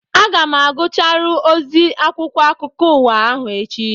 Aga m agụcharụ ozi akwụkwọ akụkọ ụwa ahụ echi